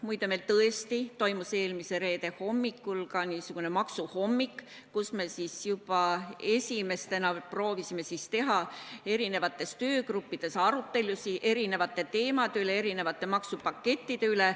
Muide, meil tõesti toimus eelmisel reedel ka niisugune maksuhommik, kus me proovisime juba esimestena teha töögruppides arutelusid maksuteemade üle, erinevate maksupakettide üle.